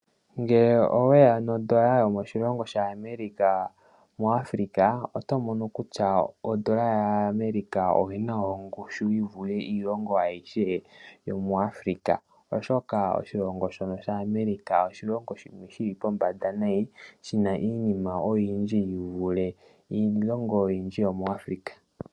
Ngele oweya nondola yo moshilongo shaAmerica muAfrica oto mono kutya ondola yaAmerica oyina ongushu yi vule iilongo ayihe yo muAfrica oshoka Oshilongo shono shaAmerica oshilongo shono shili pombanda shi vule iilongo ayihe yo muAfrica.